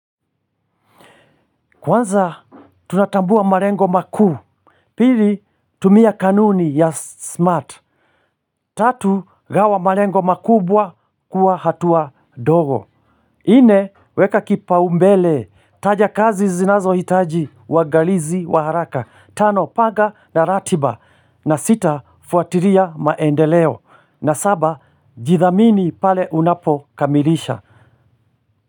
Kwanza tunatambua malengo makuu. Pili tumia kanuni ya smart. Tatu gawa malengo makubwa kuwa hatua dogo nne weka kipaumbele. Taja kazi zinazohitaji uangalizi wa haraka. Tano paga na ratiba. Na sita fuatilia maendeleo. Na saba jithamini pale unapokamilisha.